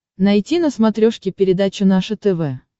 найти на смотрешке передачу наше тв